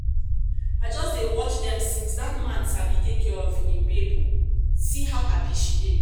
i just dey watch dem since dat man sabi take care of im babe oo. see how happy she dey